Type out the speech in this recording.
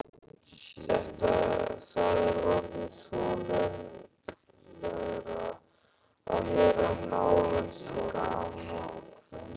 Það er orðið þolanlegra að vera nálægt honum.